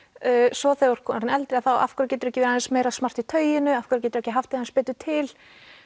svo þegar þú ert orðin eldri af hverju geturðu ekki verið aðeins meira smart í tauinu af hverju geturðu ekki haft þig aðeins betur til